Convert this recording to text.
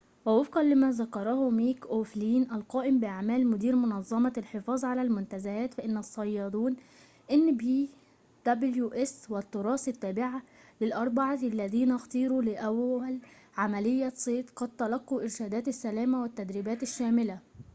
ووفقًا لما ذكره ميك أوفلين، القائم بأعمال مدير منظّمة الحفاظ على المنتزهات والتّراث التّابعة لnpws، فإن الصّيّادون الأربعة الّذين اختيروا لأوّل عمليّة صيد قد تلقوا إرشاداتِ السلامة والتدريباتٍ الشاملة